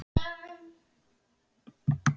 Mikill vindur á annað markið.